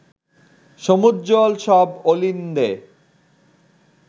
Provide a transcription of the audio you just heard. সমুজ্জ্বল সব অলিন্দে